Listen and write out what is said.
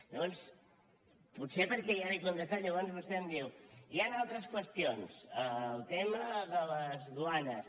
llavors potser perquè ja li he contestat llavors vostè em diu hi han altres qüestions el tema de les duanes